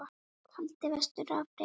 Haldið vestur á Firði